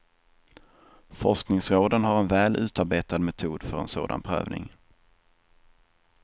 Forskningsråden har en väl utarbetad metod för en sådan prövning.